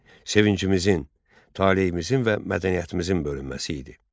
sevincimizin, taleyimizin və mədəniyyətimizin bölünməsi idi.